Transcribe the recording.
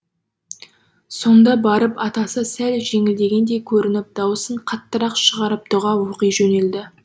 сонда барып атасы сәл жеңілгендей көрініп дауысын қаттырақ шығарып тұға оқи жөнелді